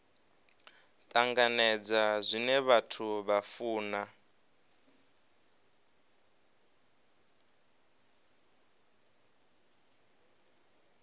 tanganedza zwine vhathu vha funa